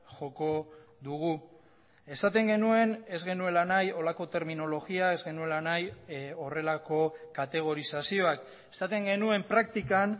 joko dugu esaten genuen ez genuela nahi horrelako terminologia ez genuela nahi horrelako kategorizazioak esaten genuen praktikan